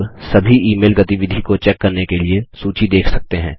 आप अब सभी ईमेल गतिविधि को चेक करने के लिए सूची देख सकते हैं